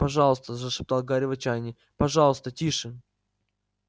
пожалуйста зашептал гарри в отчаянии пожалуйста тише